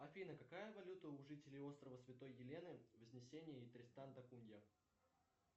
афина какая валюта у жителей острова святой елены вознесения и тристан да кунья